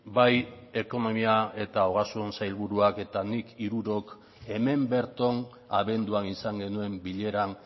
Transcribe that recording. bai ekonomia eta ogasuna sailburuak eta nik hirurok hemen berton abenduan izan genuen bileran